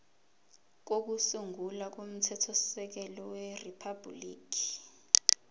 kokusungula komthethosisekelo weriphabhuliki